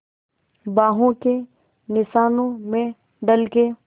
बाहों के निशानों में ढल के